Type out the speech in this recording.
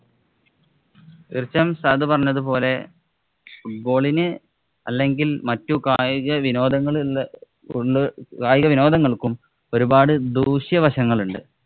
തീര്‍ച്ചയായും സഹദ് പറഞ്ഞത് പോലെ football ഇന് അല്ലെങ്കില്‍ മറ്റു കായിക വിനോദങ്ങള്‍ ഉള്ള് കായികവിനോദങ്ങള്‍ക്കും ഒരുപാട് ദൂഷ്യവശങ്ങള്‍ ഉണ്ട്.